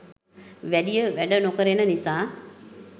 වැඩිය වැඩ නොකෙරෙන නිසා